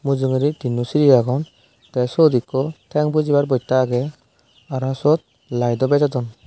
mujungedi tinno siri agon tey siyot ekko teng pujibar boitta agey araw siyot laido bejodon.